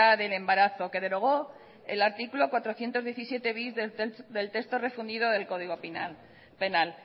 del embarazo que derogó el artículo cuatrocientos diecisiete bis del texto refundido del código penal